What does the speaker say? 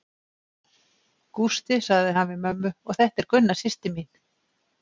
Gústi, sagði hann við mömmu og þetta er Gunna systir mín.